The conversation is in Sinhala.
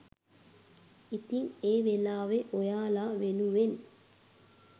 ඉතින් ඒ වෙලාවේ ඔයාලා වෙනුවෙන්